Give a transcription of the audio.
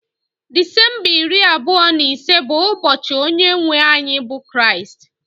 Disemba iri abụọ na ise bụ ụbọchị onye nwe anyị bụ Kristi